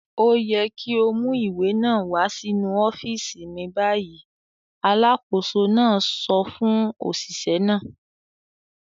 "Ó yẹ kí ó mú ìwé náà wá sínú ọ́fíísì mi báyìí!" Alákòóso náà sọ fún òṣìṣẹ́ náà.